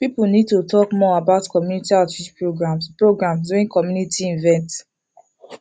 people need to talk more about community outreach programs programs during community events